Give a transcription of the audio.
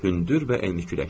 Hündür və enli kürəkdir.